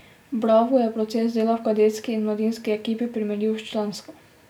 V Bravu je proces dela v kadetski in mladinski ekipi primerljiv s člansko.